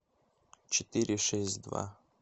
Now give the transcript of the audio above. четыре шесть два